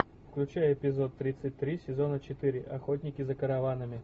включай эпизод тридцать три сезона четыре охотники за караванами